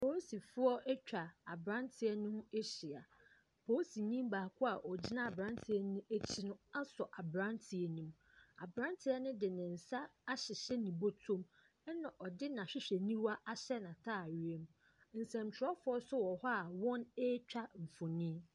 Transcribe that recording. Polisifoɔ no atwa abranteɛ no ho ahyia. Baako a ogyina no akyi no asɔ abranteɛ no mu. Abranteɛ no de nsa ahyehyɛ ne bɔtɔ mu. Ɛna ɔde n'ahwehɛni wa ahyɛ ne ntaareɛ mu. Nsɛnkyerɛfoɔ nso wɔ hɔ a wɔretwa mfoni.